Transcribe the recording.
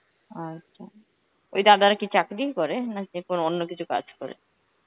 আচ্ছা, ওই দাদারা কি চাকরিই করে নাকি কোন অন্য কিছু কাজ করে?